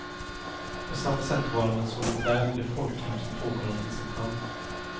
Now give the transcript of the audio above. På samma sätt var han en solitär i det folkhem som tog honom i sin famn.